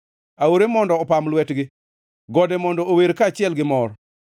Aore mondo opam lwetgi, gode mondo ower kaachiel ka gimor;